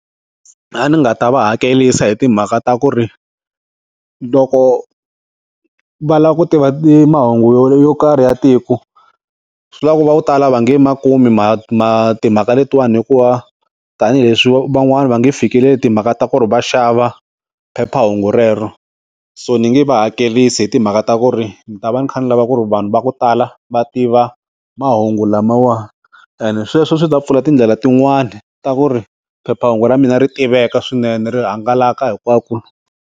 A ndzi nga ta va hakerisa hi timhaka ta ku ri loko va lava ku tiva ti mahungu yo karhi ya tiko swi vula ku vo tala va nge ma kumi timhaka letiwani hikuva tanihileswi van'wani va nge fikileli timhaka ta ku ri va xava phephahungu rero so ni nge va hakerisi hi timhaka ta ku ri ni ta va ni kha ni lava ku ri vanhu va ku tala va tiva mahungu lamawa and sweswo swi ta pfula tindlela tin'wani ta ku ri phephahungu ra mina ri tiveka swinene ri hangalaka hinkwako.